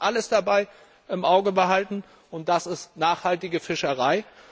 Wir müssen das alles dabei im Auge behalten, denn das bedeutet nachhaltige Fischerei.